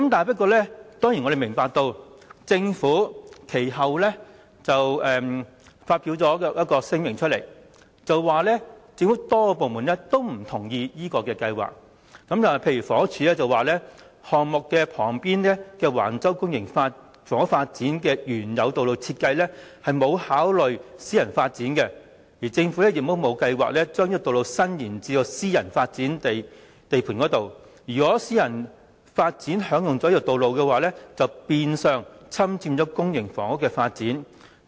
不過，我們知道政府其後發出聲明，表示政府多個部門均不同意這項計劃，例如房屋署表示項目旁邊的橫洲公營房屋發展的原有道路設計沒有考慮私人發展，而政府亦沒有計劃將這道路伸延至私人發展地盤，如果私人發展項目將使用這道路的話，便變相侵佔公營房屋的發展。